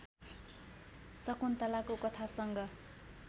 शकुन्तलाको कथासँग